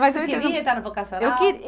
Você queria entrar no vocacional? Eu que